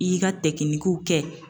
I y'i ka kɛ